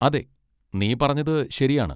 അതെ, നീ പറഞ്ഞത് ശരിയാണ്.